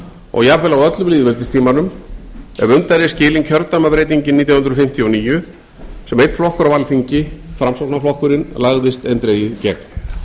og jafn vel á öllum lýðveldistímanum ef undan er skilin kjördæmabreytingin nítján hundruð fimmtíu og níu sem einn flokkur á alþingi framsóknarflokkurinn lagðist eindregið gegn það var